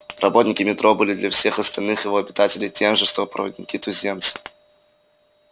работники метро были для всех остальных его обитателей тем же что проводники-туземцы